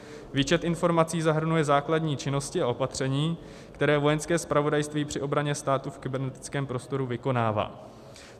Výčet informací zahrnuje základní činnosti a opatření, které Vojenské zpravodajství při obraně státu v kybernetickém prostoru vykonává.